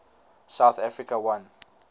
south africa won